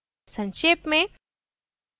संक्षेप में